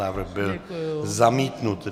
Návrh byl zamítnut.